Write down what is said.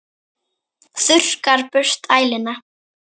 Þurrkar burt æluna.